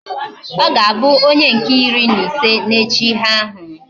Oga Abu onye nke iri na ise na iche ihe ahu